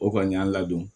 O kɔni y'an ladon